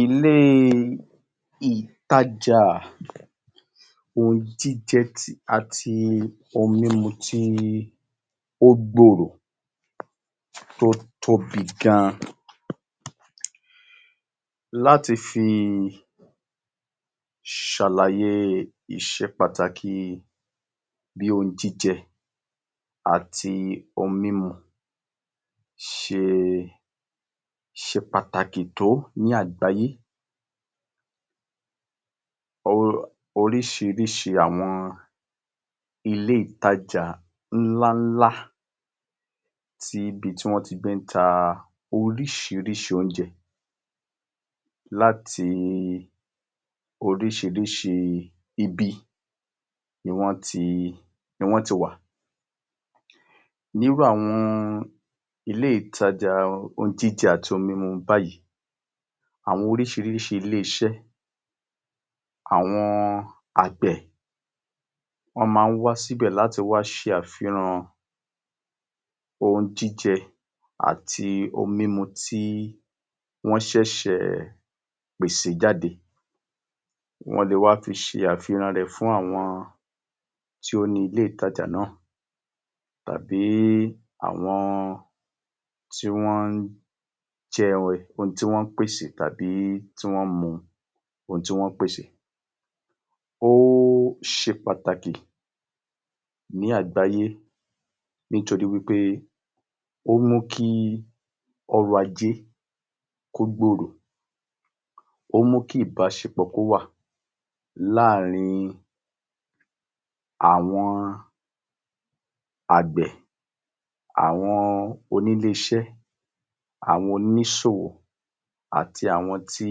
Ilé ìtajà ohun jíjẹ àti ohun mímu tí ó gbòòrò tí ó tóbi gan, láti fi ṣàlàye iṣé pàtàkì bíi ohun jíjẹ àti ohun mímu ṣe ṣe pàtàkì tó ní àgbáyé, oríṣiríṣi àwọn ilé ìtajà ńláńlá ní ibi tí wọ́n ti gbé ń ta oríṣiríṣi oúnjẹ láti oríṣiríṣi ibi ni wọ́n ti wá. Ní irú àwọn ilé ìtajà ohun jíjẹ àti ohun mímu báyìí, àwọn oríṣiríṣi ilé-iṣẹ́, àwọn àgbẹ̀ wọ́n máa wá síbẹ̀ láti wá ṣe àfihàn ohun jíjẹ àti ohun mímu tí wọ́n ṣẹ̀ṣẹ̀ pèsè jáde, wọ́n lè wá fi ṣe àfihàn rẹ̀ fún àwọn tí ó ní ilé ìtajà náà tàbí àwọn tí wọ́n jẹ́ ohun tí wọ́n pàṣẹ tàbí tí wọ́n mu ohun tí wọ́n pèsè. Ó ṣe pàtàkì ní àgbáyé nítorí wípé ó mú kí ọrọ̀ ajé kí ó gbòrò, ó mú kí ìbáṣepọ̀ kí ó wà láàrín àwọn àgbẹ̀, àwọn onílé-iṣẹ́, àwọn oníṣòwò àti àwọn tí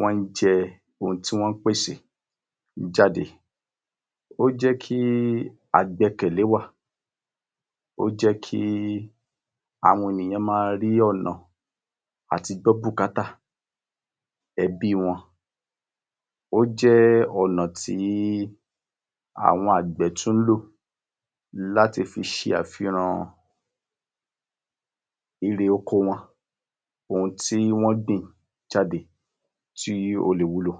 wọ́n jẹ ohun tí wọ́n pèsè jáde. Ó jẹ́ kí àgbẹ́kẹ̀lé wà, ó jẹ́ kí àwọn ènìyàn máa rí ọ̀nà àti gbọ́ bùkátà ẹbi wọn, ó jẹ́ ọ̀nà tí àwọn àgbẹ̀ tún lò láti fi ṣe àfihàn irè oko wọn, ohun tí wọ́n gbìn jáde tí ó lè wúlò.